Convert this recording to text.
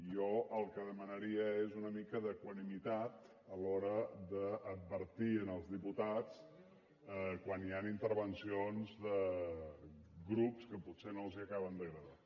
jo el que demanaria és una mica d’equanimitat a l’hora d’advertir als diputats quan hi han intervencions de grups que potser no els acaben d’agradar